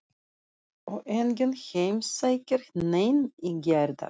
Og enginn heimsækir neinn í gærdag.